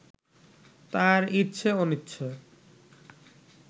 তার ইচ্ছে অনিচ্ছে